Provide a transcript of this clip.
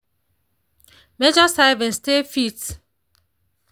measure servings stay fit.